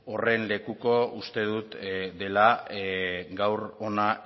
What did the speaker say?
horren lekuko uste dut dela gaur hona